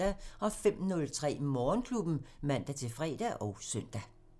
05:03: Morgenklubben (man-fre og søn)